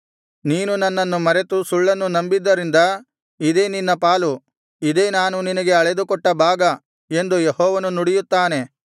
ನೀನು ನನ್ನನ್ನು ಮರೆತು ಸುಳ್ಳನ್ನು ನಂಬಿದ್ದರಿಂದ ಇದೇ ನಿನ್ನ ಪಾಲು ಇದೇ ನಾನು ನಿನಗೆ ಅಳೆದುಕೊಟ್ಟ ಭಾಗ ಎಂದು ಯೆಹೋವನು ನುಡಿಯುತ್ತಾನೆ